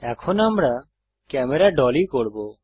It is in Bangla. এখন আমরা ক্যামেরা ডলী করব